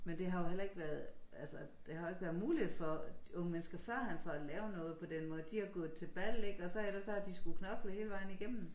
Men det har jo heller ikke været altså det har jo ikke været muligt for de unge mennesker førhen for at lave noget på den måde de har gået til bal ikke og så ellers så har de skulle knokle hele vejen igennem